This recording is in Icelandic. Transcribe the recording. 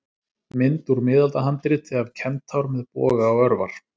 Mynd úr miðaldahandriti af kentár með boga og örvar.